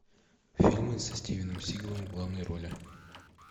фильмы со стивеном сигалом в главной роли